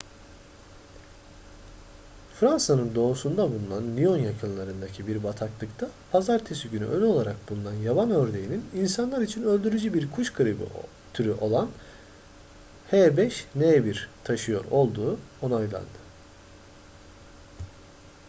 fransa'nın doğusunda bulunan lyon yakınlarındaki bir bataklıkta pazartesi günü ölü olarak bulunan yaban ördeğinin insanlar için öldürücü bir kuş gribi türü olan h5n1 taşıyor olduğu onaylandı